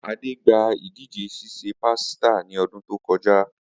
Ade gba idije sise pasita ni odun to koja.